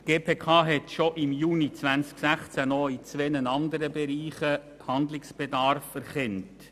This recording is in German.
Die GPK hat bereits im Juni 2016 in zwei anderen Bereichen Handlungsbedarf erkannt.